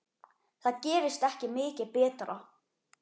Það gerist ekki mikið betra.